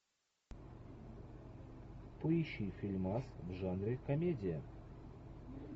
поищи фильмас в жанре комедия